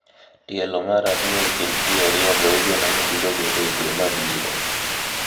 Tielo mar ariyo e kind ji ariyogo igeno ni biro bedo e dwe mabiro.